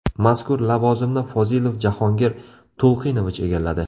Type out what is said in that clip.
Mazkur lavozimni Fozilov Jahongir To‘lqinovich egalladi.